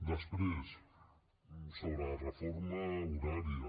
després sobre la reforma horària